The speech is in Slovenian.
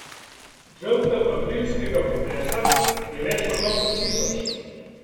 Žrtev aprilskega potresa je več kot osem tisoč.